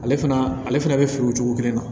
Ale fana ale fana bɛ feere o cogo kelen na